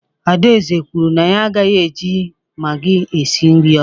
Adaeze kwuru na ya agaghị eji magi esi nri ọzọ.